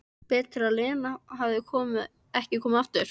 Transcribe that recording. Betur að Lena hefði ekki komið aftur.